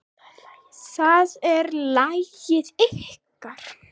Það er lagið ykkar.